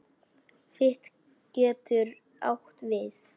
Fit getur átt við